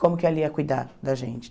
Como que ela ia cuidar da gente?